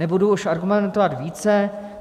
Nebudu už argumentovat více.